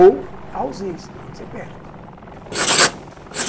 Ou a ausência, quando você perde.